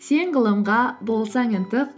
сен ғылымға болсаң ынтық